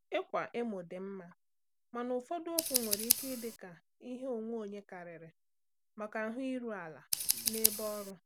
Ịkwa emo dị mma, mana ụfọdụ okwu nwere ike ịdị ka ihe onwe onye karịrị maka ahụ iru ala n’ebe ọrụ.